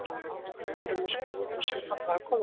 Hann fann að þeir voru skoðun sem hann var að komast á.